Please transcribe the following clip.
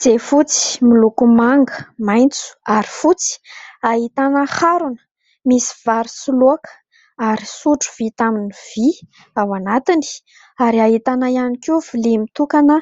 Jiafotsy miloko manga, maintso ary fotsy ahitana harona misy vary sy laoka ary sotro vita amin'ny vy ao anatiny, ary ahitana ihany koa vilia mitokana